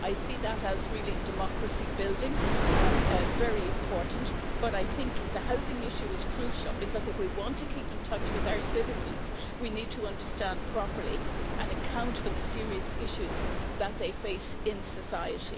I see that as really democracy building, very important, but I think the housing issue is crucial because if we want to keep in touch with our citizens, we need to understand properly and account for the serious issues that they face in society.